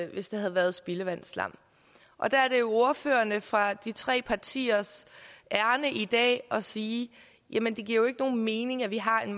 hvis det havde været spildevandsslam og der er det jo ordførerne fra de tre partiers ærinde i dag at sige jamen det giver jo ikke nogen mening at vi har en